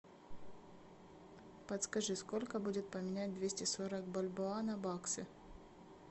подскажи сколько будет поменять двести сорок бальбоа на баксы